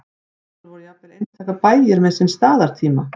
áður voru jafnvel einstaka bæir með sinn staðartíma